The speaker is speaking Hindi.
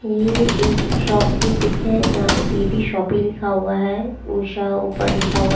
ये एक शॉप की पिक है जहां पे पी_बी शॉपी लिखा हुआ है उषा ऊपर लिखा हुआ--